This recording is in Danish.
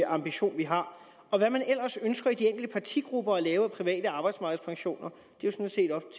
ambition vi har hvad man ellers ønsker i de enkelte partigrupper at lave af private arbejdsmarkedspensioner